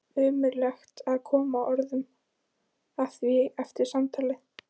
Ómögulegt að koma orðum að því eftir samtalið.